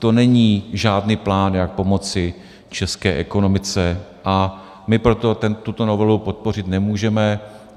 To není žádný plán, jak pomoci české ekonomice a my proto tuto novelu podpořit nemůžeme.